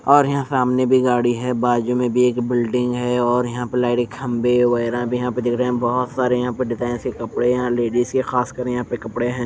और यहाँ सामने भी गाडी है और बाजु मे भी एक बिल्डिंग है और यहाँ पे लेरे खम्भे वगेरा भी यहाँ दिख रहे है बहोत सारे डिजाईन के यहाँ कपड़े यहाँ लेडिस के खासकर यहाँ पर कपड़े है।